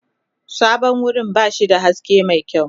Sabon wurin ba shi da haske mai kyau.